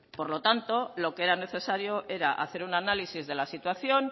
por lo tanto lo que era necesario era hacer un análisis de la situación